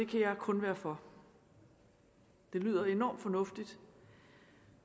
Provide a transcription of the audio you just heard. kan jeg kun være for det lyder enormt fornuftigt